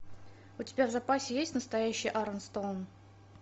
у тебя в запасе есть настоящий арон стоун